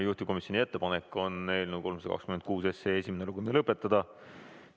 Juhtivkomisjoni ettepanek on eelnõu 326 esimene lugemine lõpetada.